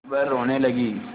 वह रोने लगी